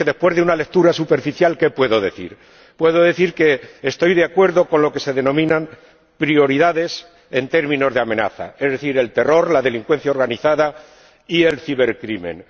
Así que, después de una lectura superficial, ¿qué puedo decir? Puedo decir que estoy de acuerdo con lo que se denominan prioridades en términos de amenaza, es decir, el terror, la delincuencia organizada y el cibercrimen.